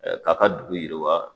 Ɛɛ K'a ka dugu yiriwa